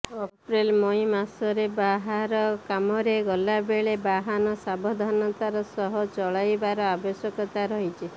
ଅପ୍ରେଲ୍ ମଇ ମାସରେ ବାହାର କାମରେ ଗଲାବେଳେ ବାହନ ସାବଧାନତାର ସହ ଚଳାଇବାର ଆବଶ୍ୟକତା ରହିଛି